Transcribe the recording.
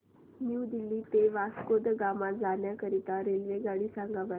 new Delhi ते वास्को द गामा जाण्या करीता रेल्वेगाडी सांगा बरं